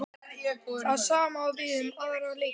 Það sama á við um aðra leikmenn?